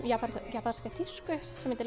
japanska tísku sem heitir